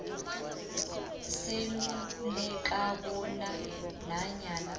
seluleka bona nanyana